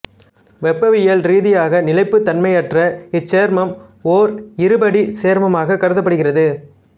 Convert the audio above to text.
வெப்பவியல் ரீதியாக நிலைப்புத் தன்மையற்ற இச்சேர்மம் ஓர் இருபடிச் சேர்மமாகக் கருதப்படுகிறது